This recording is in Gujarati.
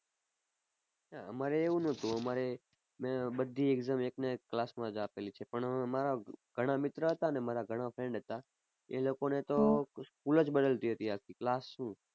અમારે એવું નહોતું અમારે બધી exam એકના એક class માં જ આપેલી છે પણ મારા ઘણા મિત્ર હતા ને મારા ઘણા friend હતા એ લોકો ને તો school જ બદલતી હતી આખી class શું.